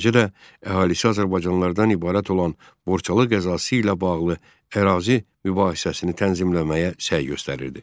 Eləcə də əhalisi azərbaycanlılardan ibarət olan Borçalı qəzası ilə bağlı ərazi mübahisəsini tənzimləməyə səy göstərirdi.